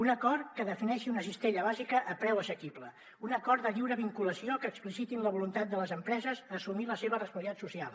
un acord que defineixi una cistella bàsica a preu assequible un acord de lliure vinculació que expliciti la voluntat de les empreses d’assumir la seva responsabilitat social